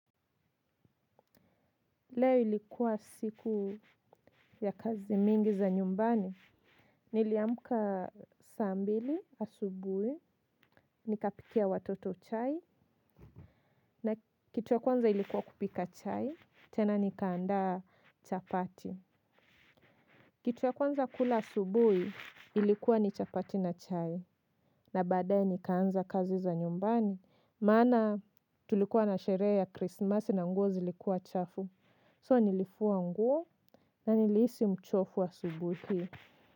Leo ilikuwa siku ya kazi mingi za nyumbani, niliamka saa mbili asubui, nikapikia watoto chai, na kitu ya kwanza ilikuwa kupika chai, tena nikaandaa chapati. Kitu ya kwanza kula asubui ilikuwa ni chapati na chai, na baadaye nikaanza kazi za nyumbani. Maana tulikuwa na sheree ya krismasi na nguo zilikuwa chafu. So nilifua nguo na nilihisi mchofu asubuhi.